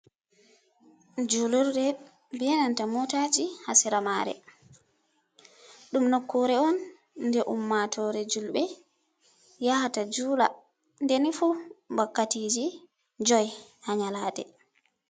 Julurde be nanta motaji hasera mare ɗum nokkure on nde ummatore julbe yahata jula deni fu wakkatiji joi ha nyalade.